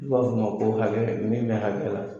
N'u b'a f'o ma ko hakɛ min bɛ hakɛ la.